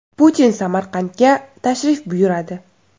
Putin Samarqandga tashrif buyuradi.